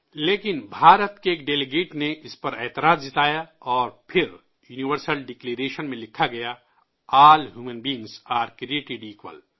لیکن بھارت کے ایک وفد نے اس پر اعتراض جتایا اور پھر یونیورسل ڈکلریشن میں لکھا گیا ''تمام انسانوں کو یکساں بنایا گیا ہے''